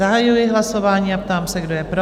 Zahajuji hlasování a ptám se, kdo je pro?